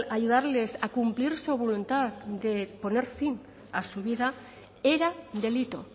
ayudarles a cumplir su voluntad de poner fin a su vida era delito